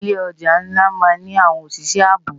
Ilé òjá nlá má ni áwòn óṣiṣè àábó